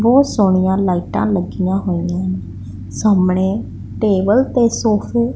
ਬਹੁਤ ਸੋਹਣੀਆਂ ਲਾਈਟਾਂ ਲੱਗੀਆਂ ਹੋਈਆਂ ਸਾਹਮਣੇ ਟੇਬਲ ਤੇ ਸੋਫ਼ੇ ।